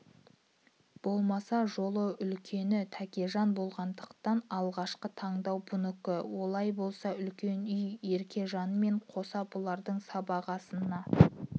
болмаса жолы үлкені тәкежан болғандықтан алғашқы тандау бұнікі олай болса үлкен үй еркежанмен қоса бұлардың сыбағасына